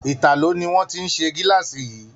Italo ni wón ti se gilaasi yìí.